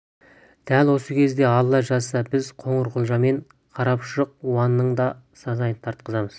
дәл осы кезде алла жазса біз қоңырқұлжа мен қарапұшық иванның да сазайын тартқызармыз